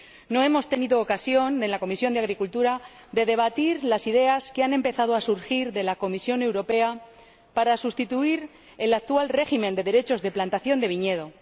No hemos tenido ocasión en la Comisión de Agricultura de debatir las ideas que han empezado a surgir de la Comisión Europea para sustituir el actual régimen de derechos de plantación de viñedo.